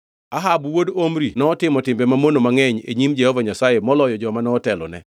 Ahab wuod Omri notimo timbe mamono mangʼeny e nyim Jehova Nyasaye moloyo joma notelo ne.